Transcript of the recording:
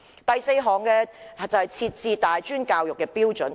第四項修正是為大專教育制訂標準。